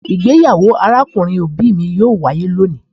Igbeyawo arakunrin obi mi yoo waye loni